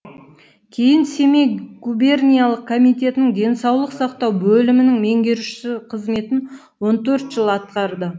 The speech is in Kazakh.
кейін семей губерниялық комитетінің денсаулық сақтау бөлімінің меңгерушісі қызметін он төрт жыл атқарды